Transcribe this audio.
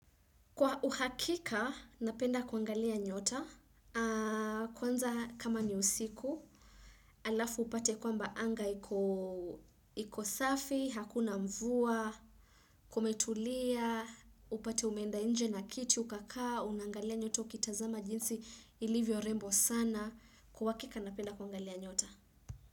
Kwa uhakika napenda kuangalia nyota. Kwanza kama ni usiku, alafu upate kwamba anga iko safi, hakuna mvua, kumetulia, upate umeenda inje na kiti ukakaa, unangalia nyota, ukitazama jinsi, ilivyorembo sana. Kwa wakika napenda kuangalia nyota.